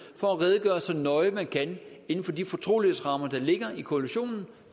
for at redegøre så nøje man kan inden for de fortrolighedsrammer der ligger i koalitionen